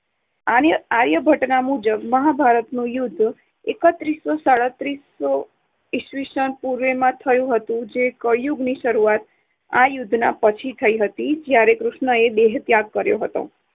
આર્ય~ આર્યભટ્ટના મુજબ મહાભારત યુદ્ધ એકત્રીસો સાડત્રીસ ઈસ્વીસન પૂર્વેમાં થયુ. કળિયુગની શરૂઆત આ યુદ્ધના પછી પછી થઈ હતી જયારે કૃષ્ણએ દેહત્યાગ કર્યો હતો